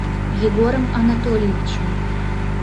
егором анатольевичем